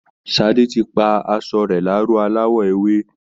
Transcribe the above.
Sade ti pa aṣọ rẹ̀ láró aláwọ̀ ewé